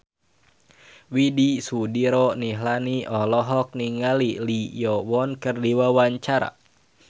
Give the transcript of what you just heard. Widy Soediro Nichlany olohok ningali Lee Yo Won keur diwawancara